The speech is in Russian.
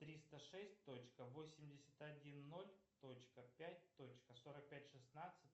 триста шесть точка восемьдесят один ноль точка пять точка сорок пять шестнадцать